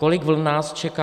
Kolik vln nás čeká?